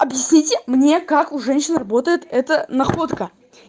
объясните мне как у женщин работает эта находка